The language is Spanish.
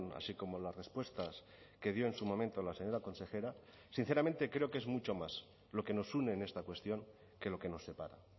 así como las respuestas que dio en su momento la señora consejera sinceramente creo que es mucho más lo que nos une en esta cuestión que lo que nos separa